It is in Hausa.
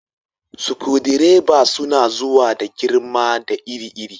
Sukudireba suna zuwa da girma da iri iri.